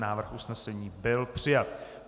Návrh usnesení byl přijat.